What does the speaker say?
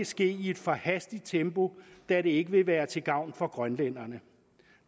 ske i et for hastigt tempo da det ikke vil være til gavn for grønlænderne